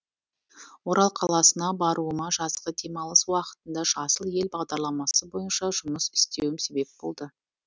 орал қаласына баруыма жазғы демалыс уақытында жасыл ел бағдарламасы бойынша жұмыс істеуім себеп болды